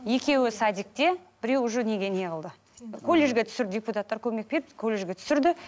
екеуі садикте біреуі уже неге неғылды колледжге түсірді депутаттар көмек берді колледжге түсірді